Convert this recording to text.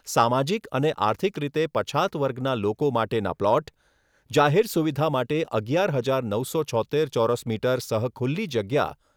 સામાજીક અને આર્થિક રીતે પછાત વર્ગના લોકો માટેના પ્લોટ, જાહેર સુવિધા માટે અગિયાર હજાર નવસો છોત્તેર ચોરસ મીટર સહ ખુલ્લી જગ્યા